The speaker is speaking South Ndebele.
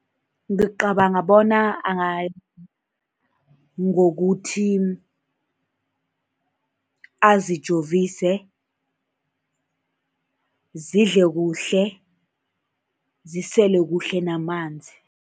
Ngicabanga bona ngokuthi azijovise, zidle kuhle, zisele kuhle namanzi.